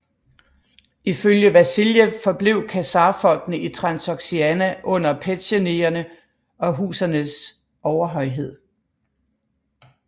Ifølge Vasiljev forblev khazarfolkene i Transoksiana under petsjenegerne og oghuzernes overhøjhed